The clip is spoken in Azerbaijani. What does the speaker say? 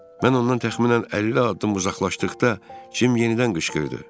Mən ondan təxminən 50 addım uzaqlaşdıqda Cim yenidən qışqırdı.